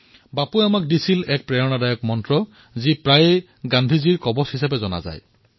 বাপুয়ে আমাক সকলোকে এক প্ৰেৰণাদায়ক মন্ত্ৰ প্ৰদান কৰিছিল যাক প্ৰায়েই গান্ধীজীৰ তালিস্মান হিচাপে জনা যায়